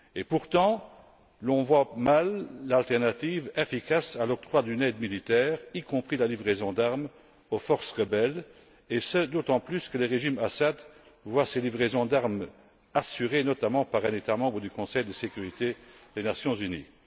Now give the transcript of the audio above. Pourtant, l'on voit mal l'alternative efficace à l'octroi d'une aide militaire, y compris la livraison d'armes aux forces rebelles, et ce, d'autant plus que le régime Assad voit ses livraisons d'armes assurées, notamment, par un État membre du Conseil de sécurité des Nations unies.